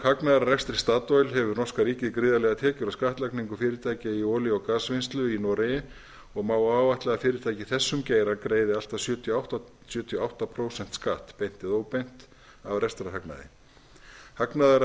hagnaðar af rekstri statoil hefur norska ríkið gríðarlegar tekjur af skattlagningu fyrirtækja í olíu og gasvinnslu í noregi og má áætla að fyrirtæki í þessum geira greiði allt að sjötíu og átta prósent skatt beint eða óbeint af rekstrarhagnaði hagnaður af